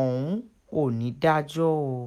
ohun onídàájọ́ òò